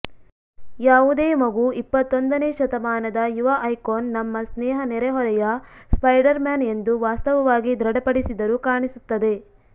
ಯಾವುದೇ ಮಗು ಇಪ್ಪತ್ತೊಂದನೇ ಶತಮಾನದ ಯುವ ಐಕಾನ್ ನಮ್ಮ ಸ್ನೇಹ ನೆರೆಹೊರೆಯ ಸ್ಪೈಡರ್ ಮ್ಯಾನ್ ಎಂದು ವಾಸ್ತವವಾಗಿ ದೃಢಪಡಿಸಿದರು ಕಾಣಿಸುತ್ತದೆ